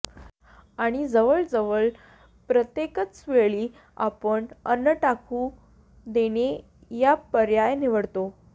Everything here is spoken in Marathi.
आणि जवळजवळ प्रत्येकचवेळी आपण अन्न टाकून देणे हा पर्याय निवडतो